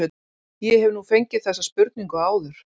Ég hef nú fengið þessa spurningu áður.